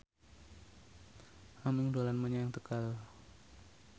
Aming dolan menyang Tegal